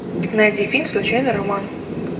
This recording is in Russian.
найди фильм случайный роман